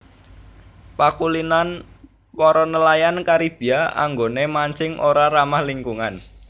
Pakulinan para nelayan Karibia anggoné mancing ora ramah lingkungan